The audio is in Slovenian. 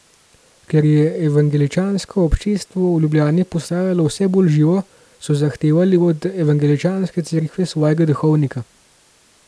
Ker je evangeličanko občestvo v Ljubljani postajalo vse bolj živo, so zahtevali od evangeličanske Cerkve svojega duhovnika.